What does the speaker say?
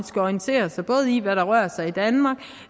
skal orientere sig i hvad der rører sig i danmark